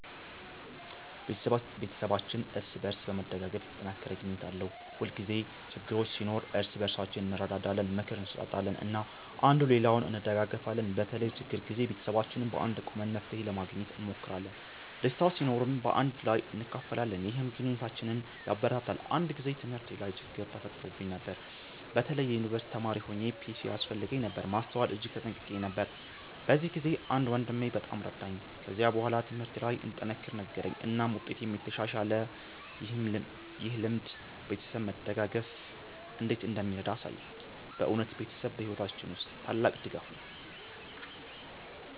ቤተሰባችን እርስ በእርስ በመደጋገፍ የተጠናከረ ግንኙነት አለው። ሁልጊዜ ችግኝ ሲኖር እርስ በእርሳችን እንረዳዳለን፣ ምክር እንሰጣጣለን እና አንዱ ሌላውን እንደጋገፊለን። በተለይም በችግር ጊዜ ቤተሰባችን በአንድነት ቆመን መፍትሄ ለማግኘት እንሞክራለን። ደስታ ሲኖርም በአንድ ላይ እናካፍላለን፣ ይህም ግንኙነታችንን ያበረታታል። አንድ ጊዜ በትምህርቴ ላይ ችግኝ ተፈጥሮብኝ ነበር። በተለይ የዩንቨርሲቲ ተማሪ ሆኘ ፒሲ ያስፈልገኝ ነበር ማስተዋል እጅግ ተጨንቄ ነበር። በዚያ ጊዜ አንድ ወንድሜ በጣም ረዳኝ። ከዚያ በኋላ ትምህርቴ ለይ እንድጠነክር ነገረኝ እናም ውጤቴም ተሻሻለ። ይህ ልምድ ቤተሰብ መደጋገፍ እንዴት እንደሚረዳ አሳየኝ። በእውነት ቤተሰብ በሕይወታችን ውስጥ ታላቅ ድጋፍ ነው።